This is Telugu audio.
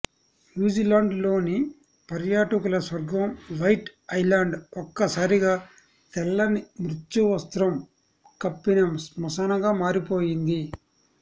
న్యూజీలాండ్ లోని పర్యాటకుల స్వర్గం వైట్ ఐలండ్ ఒక్క సారిగా తెల్లని మృత్యువస్త్రం కప్పిన స్మశానంగా మారిపోయింది